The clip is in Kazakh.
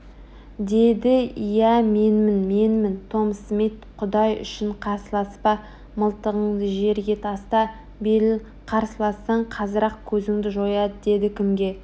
деді иә менмін менмін том смит құдай үшін қарсыласпа мылтығыңды жерге таста беріл қарсылассаң қазір-ақ көзіңді жояды деді кімге